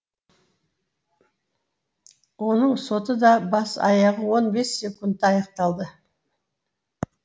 оның соты да бас аяғы он бес секундта аяқталды